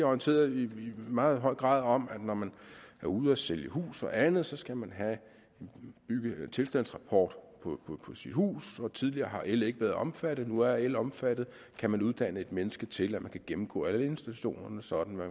orienteret i meget høj grad om at når man er ude at sælge hus og andet så skal man have en tilstandsrapport på sit hus tidligere har el ikke været omfattet nu er el omfattet kan man uddanne et menneske til at kunne gennemgå alle installationerne sådan at